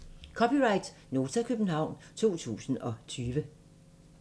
(c) Nota, København 2020